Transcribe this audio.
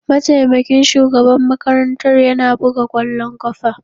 Mataimakin shugaban makarantar yana buga kwallon kafa.